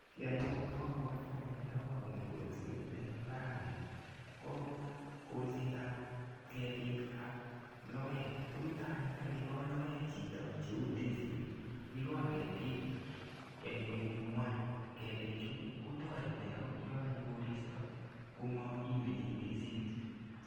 Kiy anyun ne abwoti ane ndekaker kolset eng imbarani ko kolsetab ketik ak logoek, ko yuto anyun ndakaikol logoek chito cheu ndisik, ikol ketik eng kwenungwai, ketichu kotoreti akot yo kanyo koristo komairyei ndisik.